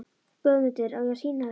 GUÐMUNDUR: Á ég að sýna þér þá?